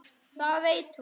Það veit hún.